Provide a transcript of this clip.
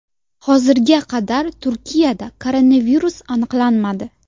Hozirga qadar Turkiyada koronavirus aniqlanmadi.